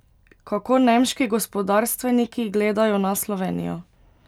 Kako nemški gospodarstveniki gledajo na Slovenijo?